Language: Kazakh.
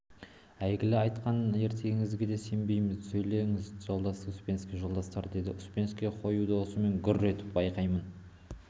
әлгі айтқан ертегіңізге де сенбейміз сөйлеңіз жолдас успенский жолдастар деді успенский қою даусымен гүр етіп байқаймын